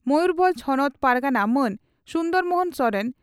ᱢᱚᱭᱩᱨᱵᱷᱚᱸᱡᱽ ᱦᱚᱱᱚᱛ ᱯᱟᱨᱜᱟᱱᱟ ᱢᱟᱱ ᱥᱩᱱᱫᱚᱨ ᱢᱚᱦᱚᱱ ᱥᱚᱨᱮᱱ